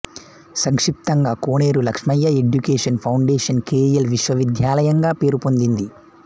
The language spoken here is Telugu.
సంక్షిప్తంగా Koneru Lakshmaiah education foundation K L విశ్వవిద్యాలయం గా పేరుపొందింది